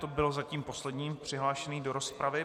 Ta byla zatím poslední přihlášenou do rozpravy.